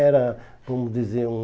Era, vamos dizer, hum...